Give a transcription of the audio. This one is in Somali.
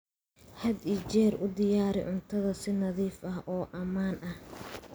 Had iyo jeer u diyaari cuntada si nadiif ah oo ammaan ah.